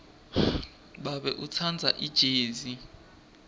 babe utsandza ijezi